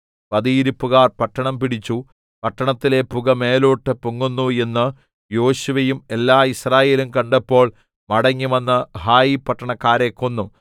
പതിയിരിപ്പുകാർ പട്ടണം പിടിച്ചു പട്ടണത്തിലെ പുക മേലോട്ട് പൊങ്ങുന്നു എന്ന് യോശുവയും എല്ലാ യിസ്രായേലും കണ്ടപ്പോൾ മടങ്ങിവന്ന് ഹായി പട്ടണക്കാരെ കൊന്നു